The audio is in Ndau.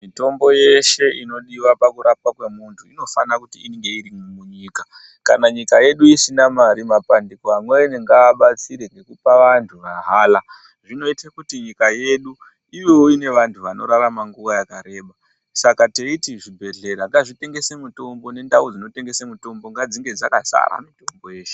Mitombo yeshe unodiwa pakurapwa kwemuntu inofana kunge iri munyika kana nyika yedu isina Mari mapandiko amweni ngabatsire ngekupa vantu mahara zvinoitira kuti nyika yedu inenge ine vantu vanirarama nguwa yakareba Saka teiti zvibhedhlera ngazvitengesa mitombo nendau dzinotengesa mitombo nendau dzinotengesa ngafzinge dzakazara Mutombo yeshe.